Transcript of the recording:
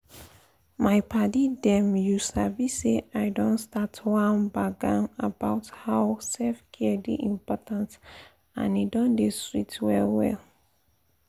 my paddy dem you sabi say i don start one gbagan about how self-care dey important and e don dey sweet well well.